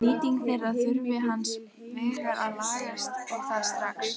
Nýting þeirra þurfi hins vegar að lagast og það strax.